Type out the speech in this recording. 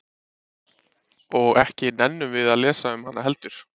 Og ekki nennum við að lesa um hana heldur?